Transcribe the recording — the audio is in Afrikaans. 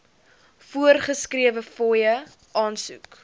voorgeskrewe fooie aansoek